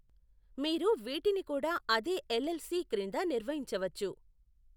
మీరు వీటిని కూడా అదే ఎల్ఎల్సి క్రింద నిర్వహించవచ్చు.